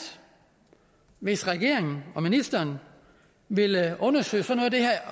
hvis regeringen og ministeren vil undersøge